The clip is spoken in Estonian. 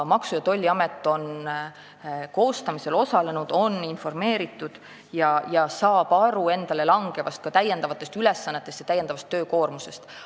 Maksu- ja Tolliamet on eelnõu koostamisel osalenud, on asjast informeeritud ja saab aru endale langevast täiendavast töökoormusest.